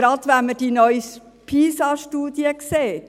Gerade wenn man die neuste PISA-Studie anschaut, sieht man Folgendes: